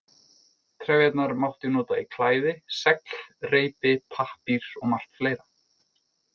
Trefjarnar mátti nota í klæði, segl, reipi, pappír og margt fleira.